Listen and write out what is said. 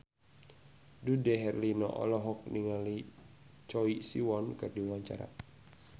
Dude Herlino olohok ningali Choi Siwon keur diwawancara